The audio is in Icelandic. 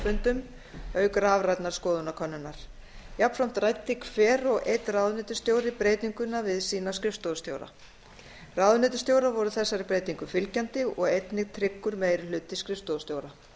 fundum auk rafrænnar skoðanakönnunar jafnframt ræddi hver og einn ráðuneytisstjóri breytinguna við sína skrifstofustjóra ráðuneytisstjórar voru þessari breytingu fylgjandi og einnig tryggur meiri hluti skrifstofustjóra